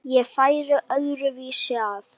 Ég færi öðru vísi að.